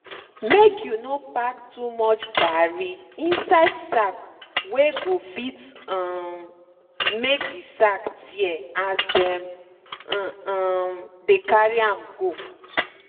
make you no pack too much garri inside sack wey go fit um make de sack tear as dem um dey carry am go.